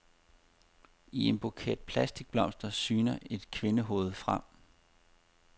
I en buket plastikblomster syner et kvindehoved frem.